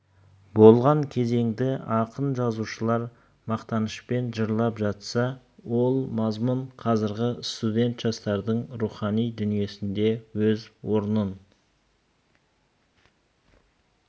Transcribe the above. болған кезеңді ақын-жазушылар мақтанышпен жырлап жатса ол мазмұн қазіргі студент жастардың рухани дүниесінде өз орнын